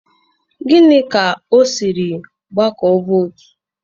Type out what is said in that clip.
Gini ka o siri gbakọọ votu?